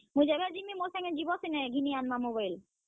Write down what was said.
ମୁଇଁ ଯେଭେ ଯିମି ଯିବ ସିନେ ଘିନି ଆନ୍ ମାଁ mobile ।